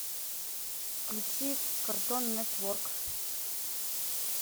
включи картон нетворк